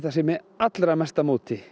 sé með allra mesta móti